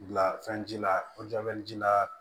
Bila fɛn ji la ji la